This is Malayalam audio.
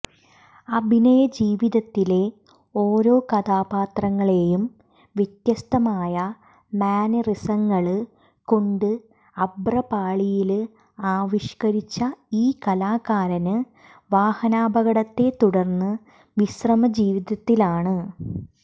അഭിനയ ജീവിതത്തിലെ ഓരോ കഥാപാത്രങ്ങളെയും വ്യത്യസ്തമായ മാനറിസങ്ങള് കൊണ്ട് അഭ്രപാളിയില് ആവിഷ്കരിച്ച ഈ കലാകാരന് വാഹനാപകടത്തെ തുടര്ന്ന് വിശ്രമജീവിതത്തിലാണ്